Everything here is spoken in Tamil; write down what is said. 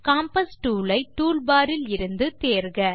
காம்பாஸ் டூல் ஐ டூல் பார் இலிருந்து தேர்க